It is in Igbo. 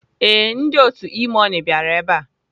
Ee, ndị otu E-money bịara ebe a.